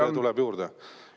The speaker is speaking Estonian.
See tuleb juurde.